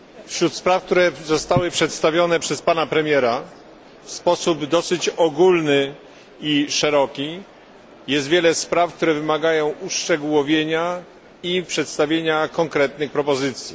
Wśród spraw, które zostały przedstawione przez pana premiera w sposób dosyć ogólny i szeroki jest wiele spraw, które wymagają uszczegółowienia i przedstawienia konkretnych propozycji.